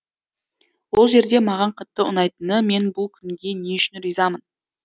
ол жерде маған қатты ұнайтыны мен бұл күнге не үшін ризамын